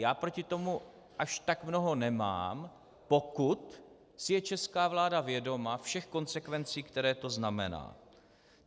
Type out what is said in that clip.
Já proti tomu až tak mnoho nemám, pokud si je česká vláda vědoma všech konsekvencí, které to znamená.